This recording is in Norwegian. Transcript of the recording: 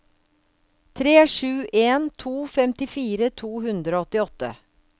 tre sju en to femtifire to hundre og åttiåtte